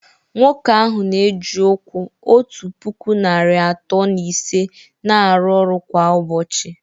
Nwoke ahụ na-eji ụkwụ otu puku narị atọ na ise na-arụ ọrụ kwa ụbọchị